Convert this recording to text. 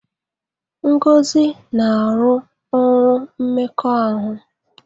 Ngozi na-arụ ọrụ mmekọahụ.